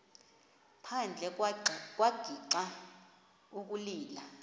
phandle wagixa ukulila